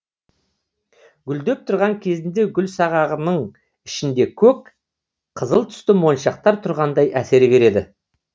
гүлдеп тұрған кезінде гүлсағағының ішінде көк қызыл түсті моншақтар тұрғандай әсер береді